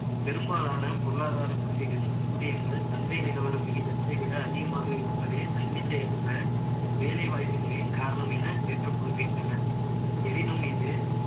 பெரும்பாலான பொருளாதார பள்ளிகள், ஊதியங்கள், சந்தை நிலவர விகிதத்தை விட, அதிகமாக இருப்பதே, தன்னிச்சையற்ற, வேலை வாய்ப்பின்மையின் காரணம் என, ஏற்றுக் கொள்கின்றன. எனினும், இது